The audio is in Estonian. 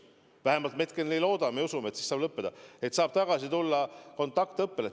Vähemalt me loodame ja usume, et siis saab see lõppeda ja siis saab tagasi tulla kontaktõppele.